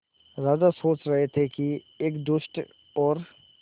राजा सोच रहे थे कि एक दुष्ट और